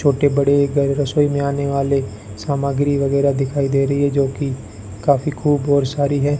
छोटे बड़े रसोई में आने वाले सामग्री वगैरह दिखाई दे रही है जो कि काफी खूब और सारी है।